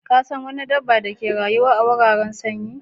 Ka San wani dabba da ka rayu a wurareasun sanyi?